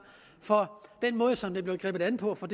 for den måde som det blev grebet an på for